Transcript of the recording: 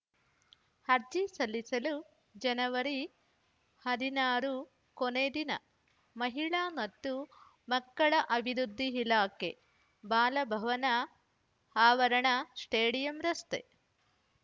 ಅರ್ಜಿ ಸಲ್ಲಿಸಲು ಜನವರಿ ಹದಿನಾರು ಕೊನೆ ದಿನ ಮಹಿಳಾ ಮತ್ತು ಮಕ್ಕಳ ಅಭಿವೃದ್ಧಿ ಇಲಾಖೆ ಬಾಲಭವನ ಆವರಣ ಸ್ಟೇಡಿಯಂ ರಸ್ತೆ